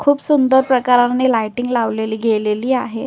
खूप सुंदर प्रकारे लायटिंग लावलेली गेलेली आहे.